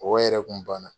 Mɔgɔ yɛrɛ kun banna